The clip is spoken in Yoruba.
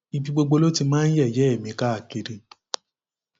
ibi gbogbo ló ti máa ń yẹyẹ mi káàkiri